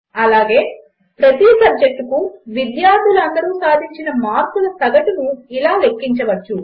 అలాగే ప్రతి సబ్జెక్టుకు విద్యార్థులు అందరూ సాధించిన మార్కుల సగటును ఇలా లెక్కించవచ్చు